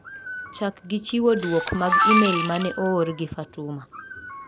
Chak gi chiwo duok mag imel mane oor gi Fatuma.